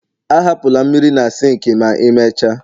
ahapụla mmiri na sink ma imecha